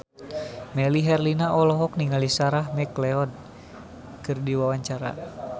Melly Herlina olohok ningali Sarah McLeod keur diwawancara